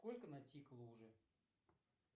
сколько натикало уже